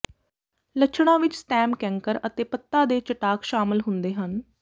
ਲੱਛਣਾਂ ਵਿੱਚ stem canker ਅਤੇ ਪੱਤਾ ਦੇ ਚਟਾਕ ਸ਼ਾਮਲ ਹੁੰਦੇ ਹਨ